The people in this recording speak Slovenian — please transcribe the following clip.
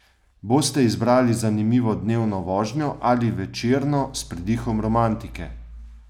Boste izbrali zanimivo dnevno vožnjo ali večerno s pridihom romantike?